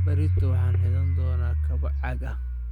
Berrito waxaan xidhan doonaa kabo caag ah